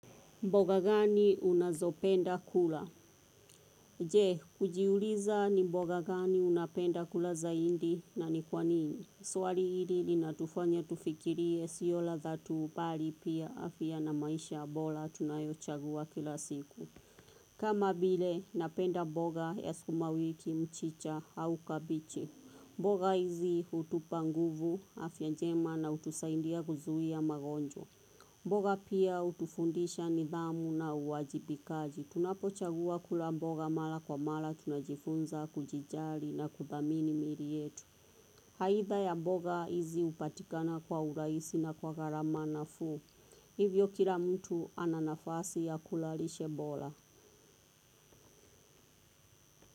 Mboga gani unazopenda kula? Je, ujiuliza ni mboga gani unapenda kula zaidi na ni kwa nini? Swali hili linatufanya tufikirie sio ladha tu bali pia afya na maisha bora tunayochagua kila siku. Kama vile, napenda mboga ya sukuma wiki mchicha au kabeji. Mboga hizi hutupa nguvu, afya njema na hutusaidia kuzuia magonjwa. Mboga pia hutufundisha nidhamu na uwajibikaji. Tunapochagua kula mboga mara kwa mara tunajifunza, kujijali na kuthamini miili yetu. Aidha ya mboga hizi hupatikana kwa urahisi na kwa gharama nafuu. Hivyo kila mtu ananafasi ya kula lishe bora.